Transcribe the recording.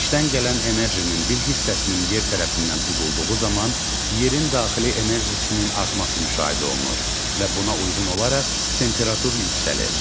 Günəşdən gələn enerjinin bir hissəsinin yer tərəfindən udulduğu zaman yerin daxili enerjisinin artması müşahidə olunur və buna uyğun olaraq temperatur yüksəlir.